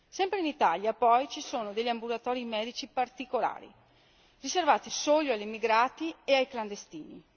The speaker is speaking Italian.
Sempre in Italia, poi, ci sono ambulatori medici particolari, riservati solo agli emigrati e ai clandestini.